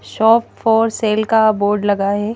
Shop for sale का board लगा है।